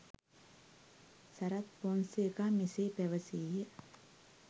සරත් ෆොන්සේකා මෙසේ පැවසීය